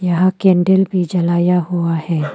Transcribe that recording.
यहां कैंडल भी जलाया हुआ है।